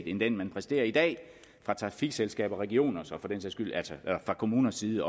end den man præsterer i dag fra trafikselskabers regioners og for den sags skyld også fra kommuners side